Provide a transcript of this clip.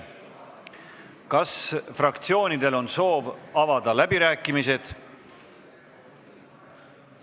Kas fraktsioonidel on soovi avada läbirääkimisi?